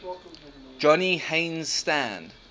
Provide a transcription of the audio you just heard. johnny haynes stand